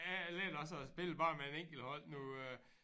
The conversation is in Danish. Jeg jeg lærte også at spille bare med en enkelt hånd nu øh